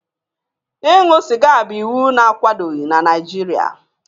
Ịṅụ sịga bụ iwu na-akwadoghị n'Naijiria.